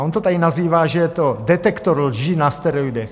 A on to tady nazývá, že je to detektor lží na steroidech.